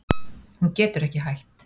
Hún getur ekki hætt.